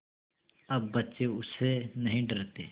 अब बच्चे उससे नहीं डरते